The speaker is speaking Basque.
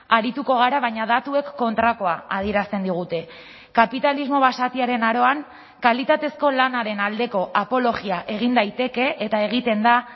arituko gara baina datuek kontrakoa adierazten digute kapitalismo basatiaren aroan kalitatezko lanaren aldeko apologia egin daiteke eta egiten da